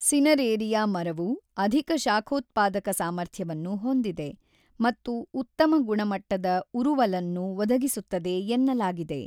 Cineraria ಮರವು ಅಧಿಕ ಶಾಖೋತ್ಪಾದಕ ಸಾಮರ್ಥ್ಯವನ್ನು ಹೊಂದಿದೆ ಮತ್ತು ಉತ್ತಮ ಗುಣಮಟ್ಟದ ಉರುವಲನ್ನು ಒದಗಿಸುತ್ತದೆ ಎನ್ನಲಾಗಿದೆ.